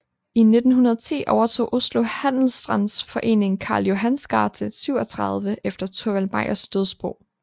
I 1910 overtog Oslo Handelsstands Forening Karl Johans gate 37 efter Thorvald Meyers dødsbo